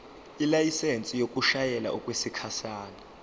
ilayisensi yokushayela okwesikhashana